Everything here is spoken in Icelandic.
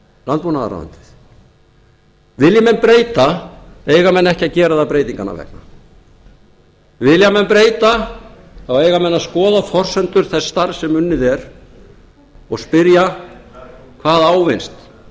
landbúnaðarráðuneytið vilji menn breyta eiga menn ekki að gera það breytinganna vegna vilji menn breyta þá eiga þeir að skoða forsendur þess starfs sem unnið er og spyrja hvað ávinnist hvað